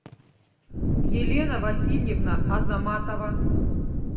елена васильевна азаматова